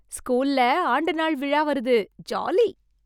ஸ்கூல்ல ஆண்டு நாள் விழா வருது ஜாலி